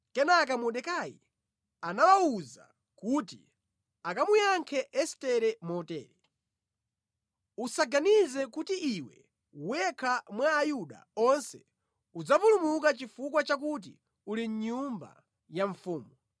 Kenaka Mordekai anawawuza kuti akamuyankhe Estere motere: “Usaganize kuti iwe wekha mwa Ayuda onse udzapulumuka chifukwa chakuti uli mʼnyumba ya mfumu.